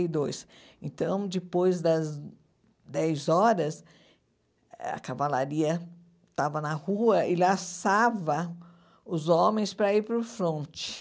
e dois. Então, depois das dez horas, a cavalaria estava na rua e laçava os homens para ir para o fronte.